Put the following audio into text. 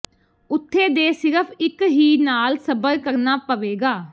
ਉੱਥੇ ਦੇ ਸਿਰਫ ਇੱਕ ਹੀ ਨਾਲ ਸਬਰ ਕਰਨਾ ਪਵੇਗਾ